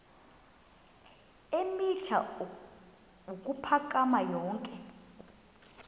eemitha ukuphakama yonke